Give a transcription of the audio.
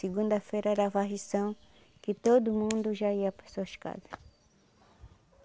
Segunda-feira era varrição, que todo mundo já ia para suas casa.